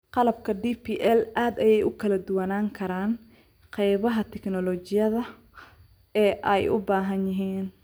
Qalabka DPL aad ayey ugu kala duwanaan karaan qaybaha tignoolajiyada ee ay u baahan yihiin.